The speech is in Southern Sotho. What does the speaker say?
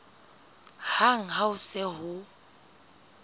hang ha ho se ho